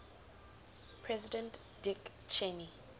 president dick cheney